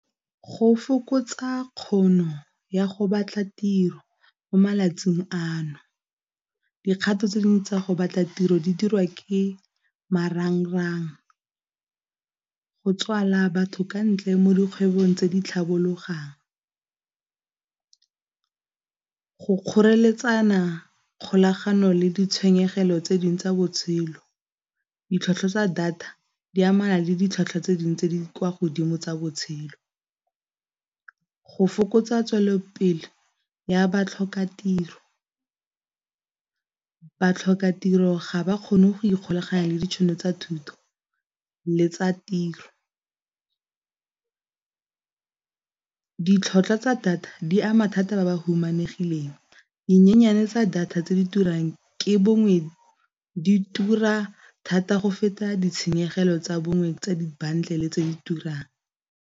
Go fokotsa kgono ya go batla tiro mo malatsing ano, dikgato tse dingwe tsa go batla tiro di dirwa ke marangrang, go tswala batho ka ntle mo dikgwebong tse di tlhabologang, go kgoreletsana kgolagano le ditshwenyegelo tse dingwe tsa botshelo. Ditlhwatlhwa tsa data di amana le ditlhwatlhwa tse dingwe tse di kwa godimo tsa botshelo, go fokotsa tswelelopele ya batlhokatiro, batlhokatiro ga ba kgone go ikgolaganya le ditšhono tsa thuto le tsa tiro. Ditlhwatlhwa tsa data di ama thata ba ba humanegileng, dinyenyane tsa data tse di turang, ke bongwe di tura thata go feta ditshenyegelo tsa bongwe tsa di-bundle tse di turang.